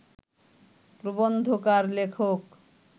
প্রবন্ধকার লেখক